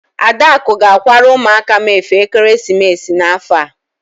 Adaku ga-akwara ụmụaka m efe ekeresimesi n'afọ a.